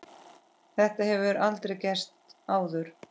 Þetta hefur aldrei gerst áður.